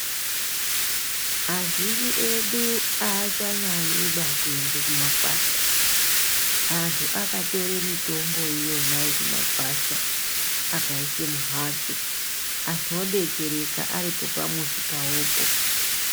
Azhinji edu achanyanyiba kuende kumakwasha antu akatore mitombo iyona kumakwasha akaise mumhatso antu odetsereka aripo pamuzi pawopo.